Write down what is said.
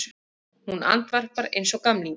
Hún andvarpar einsog gamlingi.